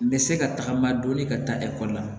N bɛ se ka tagama dɔɔnin ka taa ekɔli la